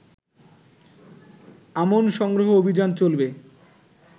আমন সংগ্রহ অভিযান চলবে।